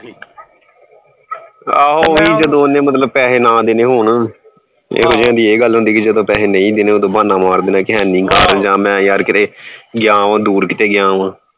ਆਹੋ ਉਹੀ ਜਦੋਂ ਉਹਨੇ ਮਤਲਬ ਪੈਸੇ ਨਾ ਦੇਣੇ ਹੋਣ ਇਹ ਗੱਲ ਹੁੰਦੀ ਕਿਸੇ ਤੋਂ ਪੈਸੇ ਨਹੀਂ ਦੇਣੇ ਉਦੋਂ ਬਹਾਨਾ ਮਾਰ ਦੇਣਾ ਕਿ ਹੈਨੀ ਘਰ ਜਾਂ ਮੈਂ ਯਾਰ ਕਿਤੇ ਗਿਆ ਵਾਂ ਦੂਰ ਕਿਤੇ ਗਿਆ ਵਾਂ।